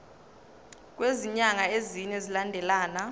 kwezinyanga ezine zilandelana